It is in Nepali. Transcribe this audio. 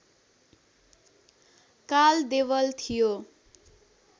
काल देवल थियो